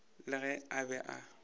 le ge a be a